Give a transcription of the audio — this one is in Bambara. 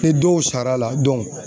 Ni dɔw sar'a la